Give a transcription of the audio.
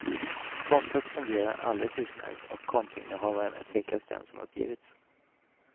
Kontot fungerar alldeles utmärkt och kontoinnehavaren är tveklöst den som uppgivits.